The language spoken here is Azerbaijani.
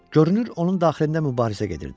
Görünür onun daxilində mübarizə gedirdi.